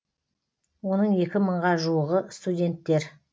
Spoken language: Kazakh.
оның екі мыңға жуығы студенттер